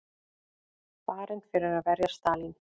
Barinn fyrir að verja Stalín